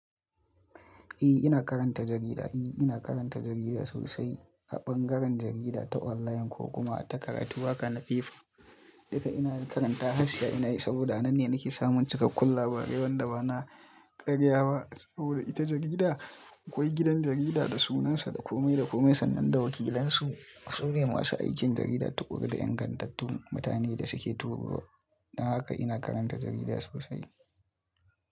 Eh ina karanta jarida. Eh ina karanta jarida sosai a ɓangaren jarida ta online ko kuma ta karatu waƙa na paper. Duka ina karanta har siya ina yi saboda nan ne nake samun cikakkun labarai wanda bana ƙarya ba saboda ita jarida akwai gidan jarida da sunansa, da komai da komai sannan da wakilansu. Su ne masu aikin jarida, tuƙuru da ingantattun mutane da suke turawa. Don haka ina karanta jarida sosai.